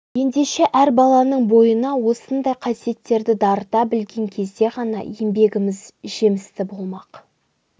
ендеше әр баланың бойына осындай қасиеттерді дарыта білген кезде ғана еңбегіміз жемісті болмақ